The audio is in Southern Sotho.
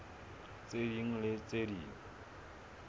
tse ding le tse ding